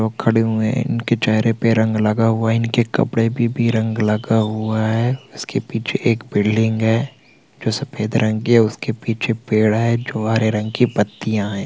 लोग खड़े हुए हैं इनके चहरे पे रंग लगा हुआ है इनके कपडे पे भी रंग लगा हुआ है इसके पीछे एक बिल्डिंग है जो सफ़ेद रंग की है उसके पीछे भी पेड़ है जो हरे रंग की पत्तियां है।